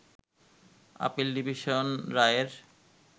appeal division রায়ের